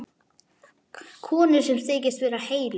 Konu sem þykist vera heilög.